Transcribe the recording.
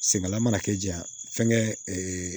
Senkala mana kɛ jakɛ